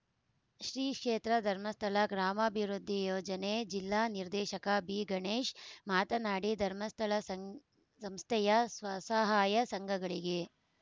ಶ್ರೀ ಕ್ಷೇತ್ರ ಧರ್ಮಸ್ಥಳ ಗ್ರಾಮಾಭಿವೃದ್ಧಿ ಯೋಜನೆ ಜಿಲ್ಲಾ ನಿರ್ದೇಶಕ ಬಿ ಗಣೇಶ್‌ ಮಾತನಾಡಿ ಧರ್ಮಸ್ಥಳ ಸಂ ಸಂಸ್ಥೆಯ ಸ್ವಸಹಾಯ ಸಂಘಗಳಿಗೆ